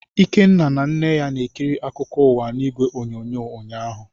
Ikenna na nne ya na-ekiri akụkọ ụwa n'igwe onyonyo ụnyaahụ.